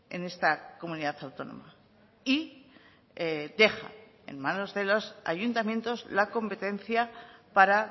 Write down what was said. en esta comunidad autónoma y deja en manos de los ayuntamientos la competencia para